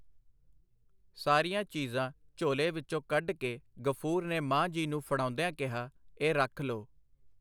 ਸਾਰੀਆਂ ਚੀਜ਼ਾਂ ਝੋਲੇ ਵਿੱਚੋਂ ਕੱਢ ਕੇ ਗ਼ਫੂਰ ਨੇ ਮਾਂ ਜੀ ਨੂੰ ਫੜਾਉਂਦਿਆਂ ਕਿਹਾ, ਇਹ ਰੱਖ ਲੋ.